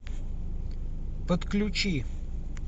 подключи